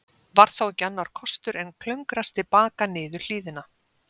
Var þá ekki annar kostur en klöngrast til baka niður hlíðina.